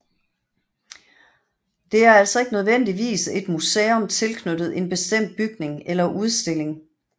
Det er altså ikke nødvendigvis et museum tilknyttet en bestemt bygning eller udstilling